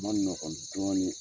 dɔɔnin